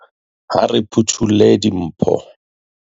ha re phutholle dimpho